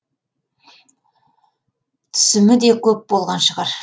түсімі де көп болған шығар